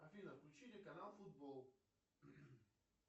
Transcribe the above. афина включите канал футбол